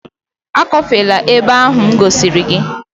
Akọfela ebe ahụ m gosiri!